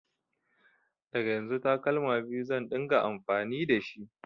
Daga yanzu takalma biyu zan ɗinga amfani dashi